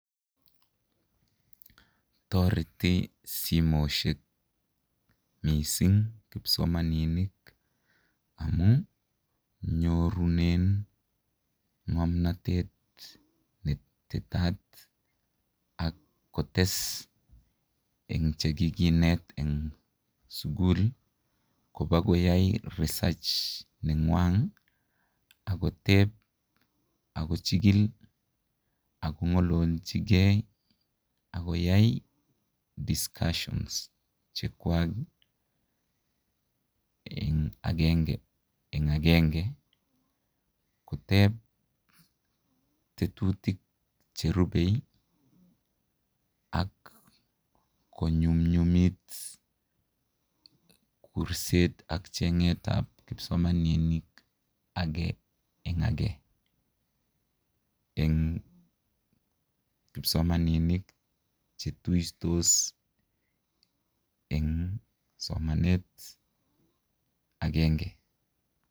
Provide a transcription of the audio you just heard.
Toreti simoisyek mising kipsomaninik amun nyorunen ngamnotet netetat ak kotes eng chekikinet eng sukul ,kobakoyai research nenywan ak koteb ak kochikil akongalalchiken akoyai discussion chekwak eng akenge eng akenge, koteb tetutik cherubei ak konyumnyumit kurset ak chengetab kipsomaninik ake ak ake eng kipsomaninik chetuitos eng somanet akenge.